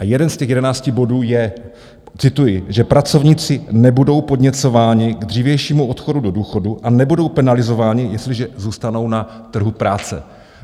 A jeden z těch jedenácti bodů je - cituji - že pracovníci nebudou podněcováni k dřívějšímu odchodu do důchodu a nebudou penalizováni, jestliže zůstanou na trhu práce.